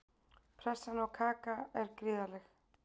Pressan á Kaka er gríðarleg.